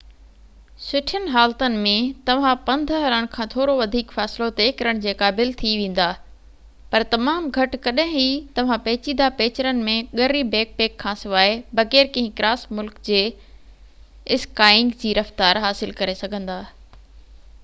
سُٺين حالتن ۾، توهان پنڌ هلڻ کان ٿورو وڌيڪ فاصلو طئي ڪرڻ جي قابل ٿي ويندا – پر تمام گهٽ ڪڏهن ئي توهان پيچيده پيچرن ۾ ڳري بيڪ پيڪ کان سواءِ بغير ڪنهن ڪراس ملڪ جي اسڪائينگ جي رفتار حاصل ڪري سگهندا